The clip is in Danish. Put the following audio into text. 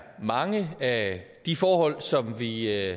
mange af de forhold i som vi